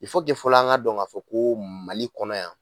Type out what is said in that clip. I fɔ fɔlɔ an ka dɔn k'a fɔ ko Mali kɔnɔ yan